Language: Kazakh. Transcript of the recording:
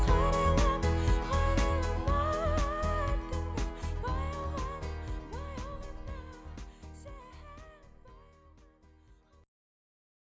қарайлама қарайлама артыңа